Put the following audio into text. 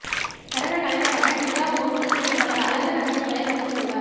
நடன கலைஞரான Dita Von Teese தனது அழகு இரகசியங்களை பகிர்ந்து கொண்டார்